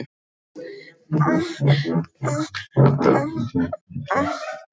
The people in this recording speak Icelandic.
Höskuldur: Þannig að það komi ekki þessar miklu hækkanir?